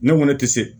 Ne ko ne tɛ se